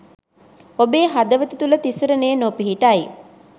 ඔබේ හදවත තුළ තිසරණය නොපිහිටයි.